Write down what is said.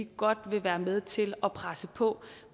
godt vil være med til at presse på